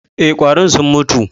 E, ƙwarin sun mutu.